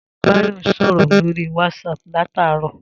Ta ni Báyò̩ ń bá sò̩rò̩ lórí WhatsApp láti àárò̩?